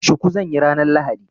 Shuku zan yi ranar lahadi.